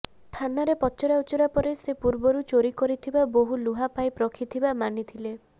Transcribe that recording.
ଥାନାରେ ପଚରା ଉଚରା ପରେ ସେ ପୂର୍ବରୁ ଚୋରି କରିଥିବା ବହୁ ଲୁହା ପାଇପ୍ ରଖିଥିବା ମାନିଥିଲେ